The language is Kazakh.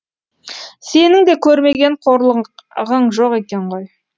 сенің де көрмеген қорлығың жоқ екен ғой